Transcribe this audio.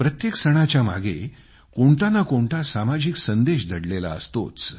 प्रत्येक सणाच्यामागे कोणतानाकोणता सामाजिक संदेश दडलेला असतोच